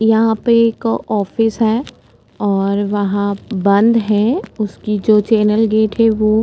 यहां पे एक ऑफिस है और वहां बंद है उसकी जो चैनल गेट है वो --